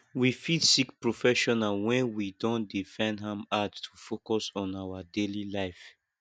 we fit seek professional when we don dey find am hard to focus on our daily life